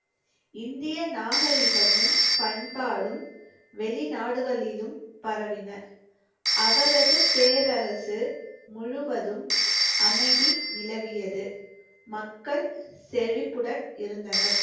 இந்திய நாகரிகமும் பண்பாடும் வெளிநாடுகளிலும் பரவின. அவரது பேரரசு முழுவதும் அமைதி நிலவியது. மக்கள் செழிப்புடன் இருந்தனர்.